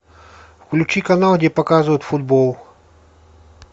включи канал где показывают футбол